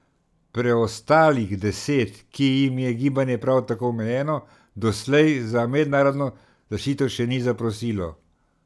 Preostalih deset, ki jim je gibanje prav tako omejeno, doslej za mednarodno zaščito še ni zaprosilo.